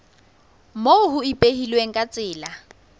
moo ho ipehilweng ka tsela